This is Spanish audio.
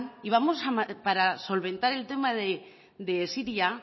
y vamos para solventar el tema de siria